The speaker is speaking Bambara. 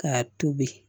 K'a tobi